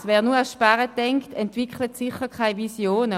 Schade, wer nur ans Sparen denkt entwickelt sicher keine Visionen.